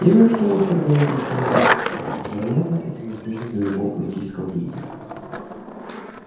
я вижу что вы вторгаетесь в мою область вероятно это неизбежно для любого политического деятеля